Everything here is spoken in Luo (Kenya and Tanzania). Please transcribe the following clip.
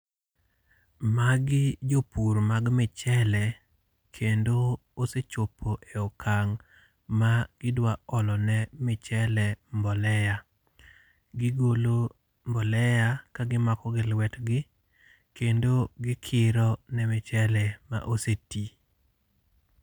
Magi jpur mag michele, kendo osechopo e okang' ma idwa olo ne michele mbolea. Gigolo mbolea ka gimako gi lwetgi kendo gikiro ne michele ma osetii.